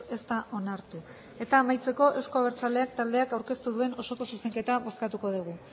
ez da onartu eta amaitzeko euzko abertzaleak taldeak aurkeztu duen osoko zuzenketa bozkatuko dugu